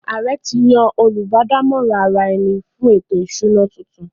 Ààrẹ ti yan “ Olùbádámọ̀ràn ara-ẹni fún ètò-ìsúná” tuntun